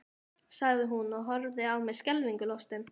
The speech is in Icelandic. Jóhann, hvað kom fram í málefnum sérfræðilækna við ráðherra?